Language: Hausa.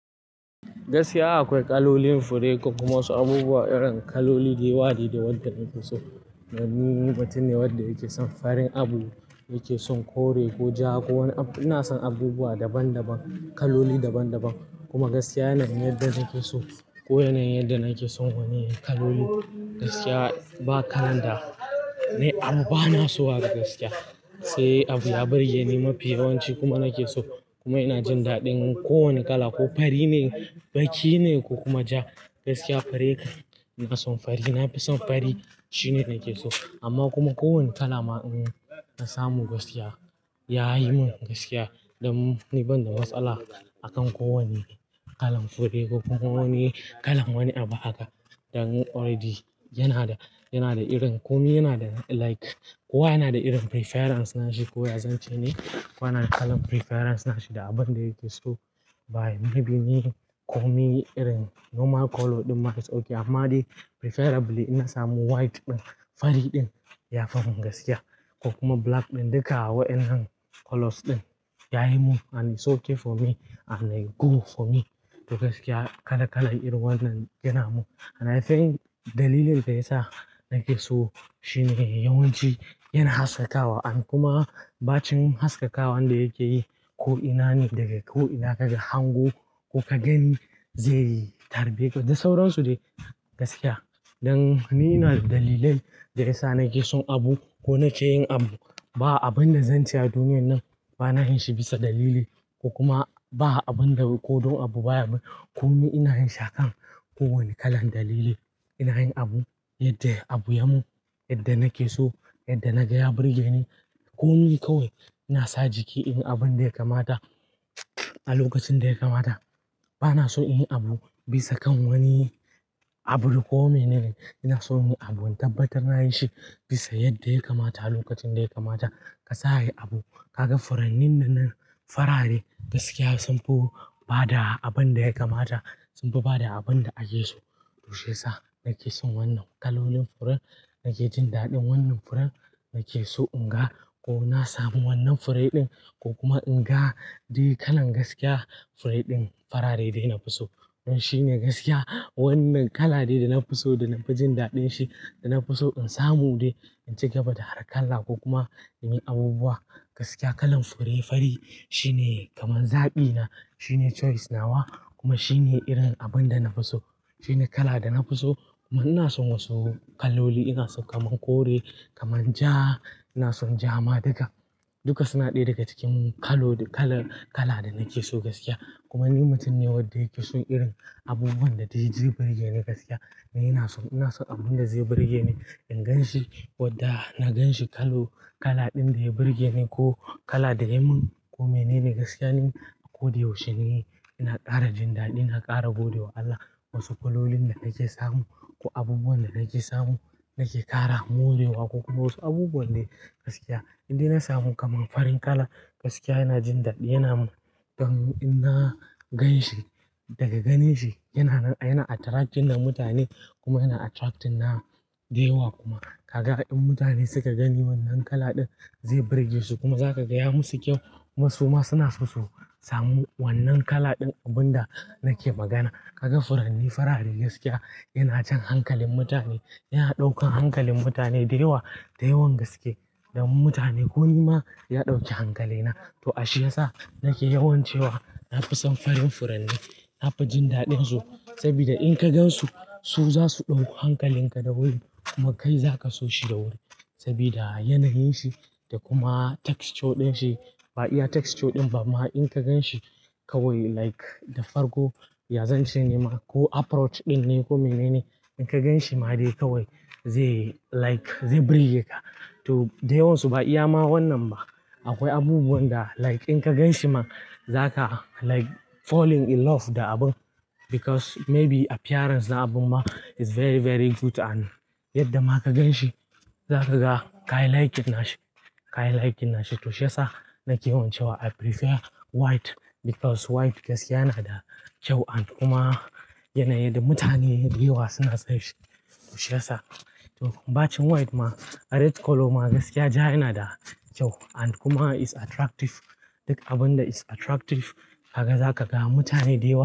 Gaskiya akwai kalolin fure ko kuma wasu abubuwa irin kaloli da yawa ne wanda na fi so. Ni mutum ne wanda yake son farin abu, yake son kore ko ja ko wani abu. Ina son abubuwa daban daban, kaloli daban daban. Kuma gaskiya yana yadda nake so ko yana yadda nake son wani kaloli gaskiya ba kala da, ai an bani so a gaskiya. Sai abu ya burge ni mafi yawanci kuma nake so kuma ina jin daɗin ko wani kala. Ko fari ne, baki ne ko kuma ja gaskiya fure ina son fari. Na fi son fari shine nake so. Amma kuma kowane kala ma in na samu gaskiya ya yi mun gaskiya. Dan ni ban da matsala akan ko wane kalan fure ko ko wane kalan wani abu haka. Dan already yana da, yana da irin komi yana da like kowa yana da irin preference nashi. Kowa ya zance ne, kowa yana da kalan preference nashi da abun da yake so. Bayi maybe me komi irin normal color ɗin ma yake sauki amma dai preferably ina samu white ɗin, fari ɗin yafi mun gaskiya ko kuma black ɗin duka waɗannan colors ɗin yayi mun and it's okay for me and a go for me. To gaskiya kala kala irin waɗannan yana mun and I think dalilin da yasa nake so shine yawanci yana haskakawa and kuma ɓacin haskakawa wanda yake yi ko ina ne daga ko ina kaga hango ko ka gani zai tarbe ka da sauransu dai gaskiya. Dan ni na da dalilan da yasa nake son abu ko nake yin abu. Ba abin da zan ce a duniya nan bana yin shi bisa dalili ko kuma ba abin da ko don abu baya mun. Komi ina yin shi a kan kowane kalan dalili. Ina yin abu yadda ya abu yamu, yadda nake so, yadda na gaya burge ni komi kawai. Ina sa jiki in yi abun da ya kamata a lokacin da ya kamata. Bana son inyi abu bisa kan wani abu ko mene. Ina son yin abu in tabbatar na yi shi bisa yadda ya kamata a lokacin da ya kamata. Ka sa yi abu ka ga furanni nanan faraɗe gaskiya sunfi bada abun da ya kamata, sunfi bada abun da ake so. Toshe sa nake son wannan kalolin furen, nake jin daɗin wannan furen nake so in ga ko na sami wannan fure ɗin ko kuma in ga dai kalan gaskiya fure ɗin farare dai na fi so. Shi ne gaskiya wannan kala ne da na fi so, da na fi jin daɗin shi, da na fi so in samu dai in ci gaba da hara kala ko kuma ina yin abubuwa. Gaskiya kalan fure fari shine kaman zaɓina shine choice nawa kuma shine irin abin da na fi so. Shine kala da na fi so kuma ina son wasu kaloli ina so kaman kore, kaman ja, ina son ja ma duka. Duka suna ɗaya daga cikin kalon kala kala da nake so gaskiya. Kuma ni mutum ne wanda yake son irin abubuwan da zai ji burge ne gaskiya. Ni ina son, ina son abun da zai burge ni. In gan shi wadda na ganshi kalo kala ɗin da ya burge ni ko kala da yayi mun komai ne gaskiya. Ni a ko sa yaushe ne ina ƙara jin daɗi, ina ƙara gode wa Allah wasu kalolin da nake samu ko abubuwan da nake samu nake ƙara mu gobe wa ko kuma wasu abubuwan dai gaskiya idan ina samu kaman farin kala gaskiya yana jin daɗi yana mun. Dan in na ganshi daga ganin shi yana, yana attracting na mutane kuma yana attracting na dayawa kuma kaga in mutane suka gani wannan kala ɗin zai burge su kuma za ka gaya musu kyau. Kuma su ma suna so su samu wannan kala ɗin abun da nake magana. Kaga furanni farare gaskiya yana jan hankalin mutane, yana ɗaukan hankalin mutane dayawa da yawan gaske. Dan mutane ko ni ma ya ɗauki hankalina. To shi ya sa nake yawan cewa na fi son farin furanni. Na fi jin daɗin su saboda in ka gansu su za su ɗauko hankalin ka da wuri kuma kai zaka so shi da wuri saboda yanayin shi da kuma texture ɗin shi. Ba iya texture ɗin ba ma in ka gan shi kawai like da farko ya zance ne ma ko approach ɗin ne komai ne ne. In ka ganshi ma dai kawai zai like zai burge ka. To dai yawansu ba iya ma wannan ba akwai abubuwan da like in ka ganshi ma zaka like falling in love da abun because maybe appearance na abun ma is very very good and yadda ma ka gan shi zaka ga ka like nashi, ka like nashi. To shi ya sa nake yawan cewa I prefer white because white gaskiya yana da kyau and kuma yanayin da mutane dayawa suna son shi. To shi ya sa to ɓacin white ma red color ma gaskiya ja yana da kyau and kuma is attractive. Duk abun da is attractive kaga za ka ga mutane dayawa.